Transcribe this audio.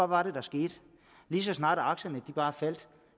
var det der skete lige så snart aktierne bare faldt